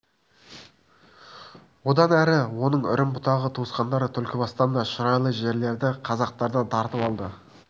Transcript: одан әрі оның үрім-бұтағы туысқандары түлкібастан да шұрайлы жерлерді қазақтардан тартып алды